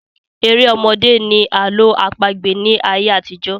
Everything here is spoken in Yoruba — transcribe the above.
Eré ọmọdé ni Àlọ àpagbẹ̀ ni ayé àtijọ́